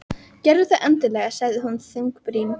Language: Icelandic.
Gerðu það endilega sagði hún þungbrýnd.